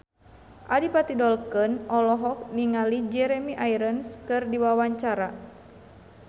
Adipati Dolken olohok ningali Jeremy Irons keur diwawancara